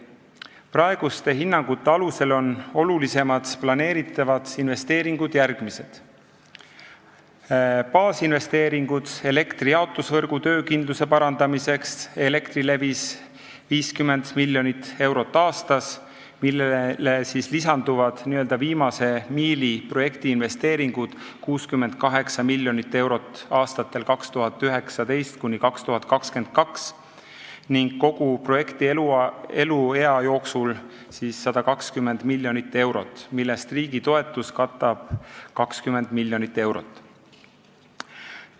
Praeguste hinnangute alusel on olulisemad planeeritavad investeeringud järgmised: baasinvesteeringud elektrijaotusvõrgu töökindluse parandamiseks Elektrilevis, mida on 50 miljonit eurot aastas, millele lisanduvad n-ö viimase miili projekti investeeringud, mida on 68 miljonit eurot aastatel 2019–2022 ning kogu projekti eluea jooksul 120 miljonit eurot, millest riigi toetus katab 20 miljonit eurot.